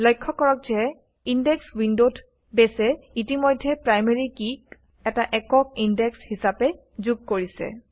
লক্ষ্য কৰক যে ইনডেক্স উইণ্ডত বেছে ইতিমধ্যেই প্ৰাইমেৰী কি ক এটা একক ইনডেক্স হিচাপে যোগ কৰিছে